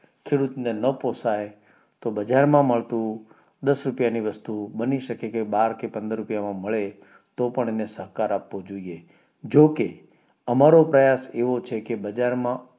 ખેડૂત ને ના પોસાય તો બજારમાં મળતું દાસ રૂપિયા ની વસ્તુ બની શકે કે બાર કે પંદર રૂપિયા માં મળે તો તેને સહકાર એવો જો કે અમારો પ્રયાસ એવો છે કે